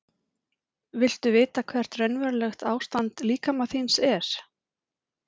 Viltu vita hvert raunverulegt ástand líkama þíns er?